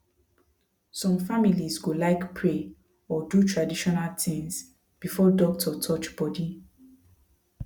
some families go like pray or do traditional things before doctor touch body